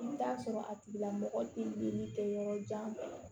I bɛ taa sɔrɔ a tigilamɔgɔ teli tɛ yɔrɔ jan